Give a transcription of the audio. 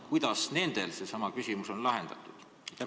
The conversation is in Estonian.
Kuidas nendel see küsimus on lahendatud?